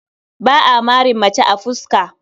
Ba a marin mace a fuska.